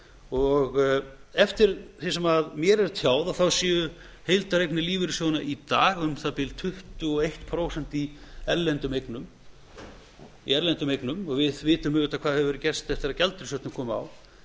vaxtabótagreiðslum eftir því sem mér er tjáð þá séu heildareignir lífeyrissjóðanna í dag um það bil tuttugu og eitt prósent í erlendum eignum og við vitum auðvitað hvað hefur gerst eftir að gjaldeyrishöftin komu á